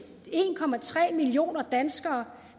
en millioner danskere